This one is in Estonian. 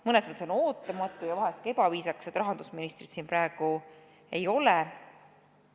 Mõnes mõttes on ootamatu ja vahest ka ebaviisakas, et rahandusministrit siin praegu ei ole.